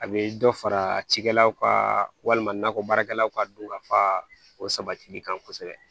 A bɛ dɔ fara cikɛlaw ka walima nakɔ baarakɛlaw ka don ka fa o sabatili kan kosɛbɛ